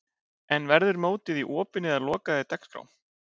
En verður mótið í opinni eða lokaðri dagskrá?